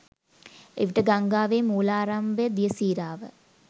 එවිට ගංගාවේ මූලාරම්භක දිය සීරාව